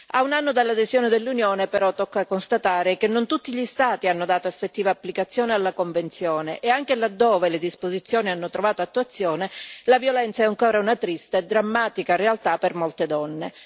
A un anno dall'adesione dell'Unione, però, tocca constatare che non tutti gli Stati hanno dato effettiva applicazione alla Convenzione e che, anche laddove le disposizioni hanno trovato attuazione, la violenza è ancora una triste e drammatica realtà per molte donne.